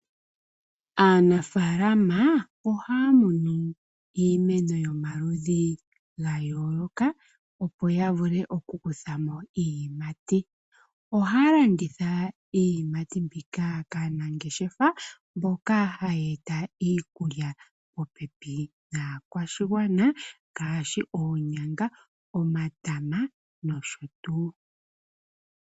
Aantu ohaya landitha iiyimata ngaashi oonyanga , omatama , omboga no sho tuu. Inima mbika ohayi eta oshimaliwa moondjati dhawo.